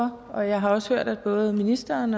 for og jeg har også hørt at både ministeren